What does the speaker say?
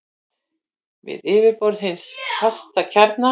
við yfirborð hins fasta kjarna.